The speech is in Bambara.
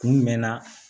Kun mɛnna